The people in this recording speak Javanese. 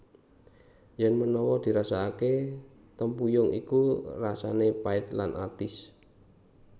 Yèn menawa dirasakakè tempuyung iku rasanè pait lan atis